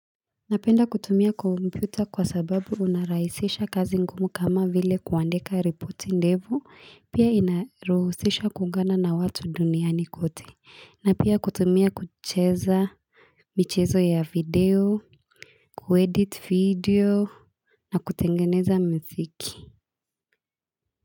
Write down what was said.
Napenda kutumia kompyuta kwa sababu unarahisisha kazi ngumu kama vile kuandika ripoti ndefu pia inaruhusisha kuungana na watu duniani kote na pia kutumia kucheza michezo ya video kuedit video na kutengeneza muziki.